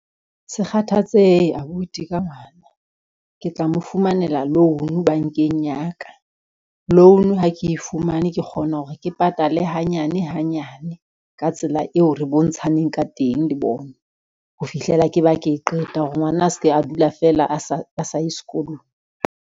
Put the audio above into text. Se kgathatsehe abuti ka ngwana, ke tla mo fumanela loan bankeng ya ka. Loan ha ke e fumane, ke kgona hore ke patale hanyane hanyane ka tsela eo re bontshaneng ka teng le bona, ho fihlela ke ba ke qeta hore ngwana a se ke a dula feela a sa ye sekolong.